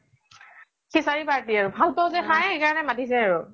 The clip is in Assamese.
সিচাৰি party জে নাই সেইকাৰনে মাতিছে আৰু